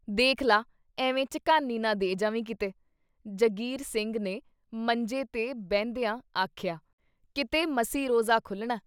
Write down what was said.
ਦੇਖ ਲਾ! ਐਵੇਂ ਝਕਾਨੀ ਨਾ ਦੇ ਜਾਵੀਂ ਕਿਤੇ! ਜੰਗੀਰ ਸਿੰਘ ਨੇ ਮੰਜੇ 'ਤੇ ਬਹਿੰਦਿਆਂ ਆਖਿਆ, ਕਿਤੇ ਮਸੀਂ ਰੋਜ਼ਾ ਖੁੱਲ੍ਹਣਾ।"